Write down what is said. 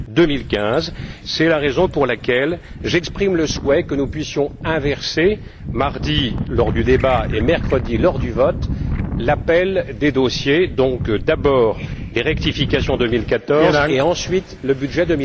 2015. C'est la raison pour laquelle j'exprime le souhait que nous puissions inverser mardi, lors du débat, et mercredi, lors du vote, l'appel des dossiers, c'est à dire d'abord les rectifications 2014 et ensuite le budget